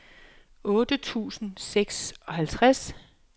otte tusind og seksoghalvtreds